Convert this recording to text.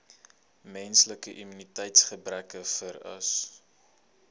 menslike immuniteitsgebrekvirus